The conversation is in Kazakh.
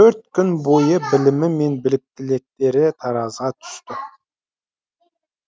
төрт күн бойы білімі мен біліктіліктері таразыға түсті